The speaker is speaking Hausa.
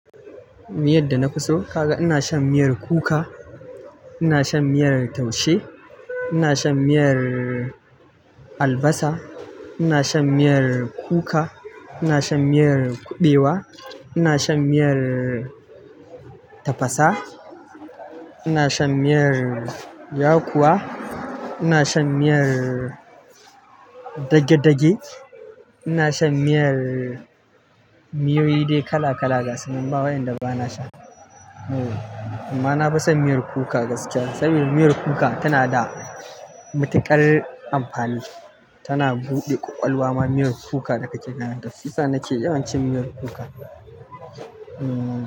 Miyadda nafiso kaga ina shan miyar kuka ina shan miyar taushe ina shan miyar albasa ina shan miyar kuka miyar kuɓewa ina shan miyar tafasa, ina shan miyar yakuwa, ina shan miyar dagedage, ina shan miyar-- miyoyi dai kala kala gasu nan ba wayanda bana sha. Amma na fison miyar kuka gaskiya sabida miyar kuka tana da matuƙar amfani. Tana buɗe ƙwaƙwalwa ma miyar kuka da kake ganin ta. Su sa nake yawancin miyar kuka. Ummm.